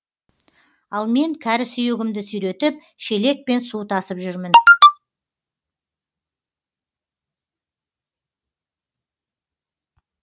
ал мен кәрі сүйегімді сүйретіп шелекпен су тасып жүрмін